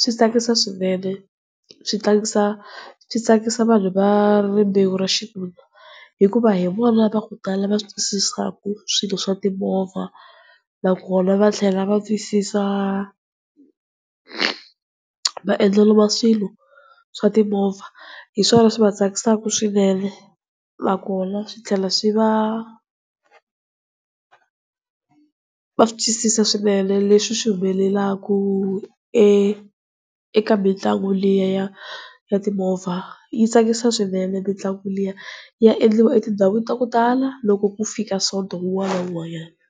Swi tsakisa swinene, swi tsakisa swi tsakisa vanhu va rimbewu ra xinuna hikuva hi vona va ku tala va swi twisisaka swilo swa timovha. Na kona va tlhela va twisisa maendlelo ma swilo swa timovha, hiswona swi va tsakisaka swinene, na kona swi tlhela swi va va swi twisisa swinene leswi swi humelelaka eka mitlangu liya ya timovha. Yi tsakisa swinene mitlangu liya ya endliwa etindhawini ta ku tala loko ku fika sonto wun'wana na wun'wanyana.